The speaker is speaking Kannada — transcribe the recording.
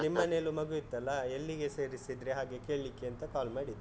ನಿಮ್ಮನೇಲೂ ಮಗು ಇತ್ತಲ್ಲ, ಎಲ್ಲಿಗೆ ಸೇರಿಸಿದ್ರಿ ಹಾಗೆ ಕೇಳಿಕ್ಕೆ ಅಂತ call ಮಾಡಿದ್ದು.